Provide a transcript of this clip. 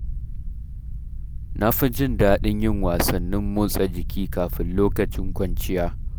Na fi jin daɗin yin wasannin motsa jiki kafin lokacin kwanciya.